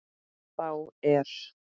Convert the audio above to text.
Þá er